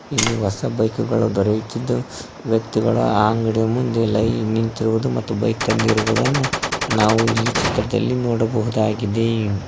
ಇಲ್ಲಿ ಹೊಸ ಬೈಕ್ ಗಳು ದೊರೆಯುತ್ತಿದ್ದು ವ್ಯಕ್ತಿಗಳು ಆ ಅಂಗಡಿಯ ಮುಂದೆ ಲೈನ್ ನಿಂತಿರುವುದು ಮತ್ತು ಬೈಕ್ ತಂದಿರುವುದನ್ನು ನಾವು ಇಲ್ಲಿ ಚಿತ್ರದಲ್ಲಿ ನೋಡಬಹುದಾಗಿದೆ.